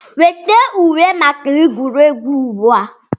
Weta uwe maka egwuregwu ugbu a!